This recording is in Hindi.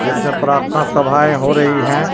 यह सब प्रार्थना सभाए हो रही है.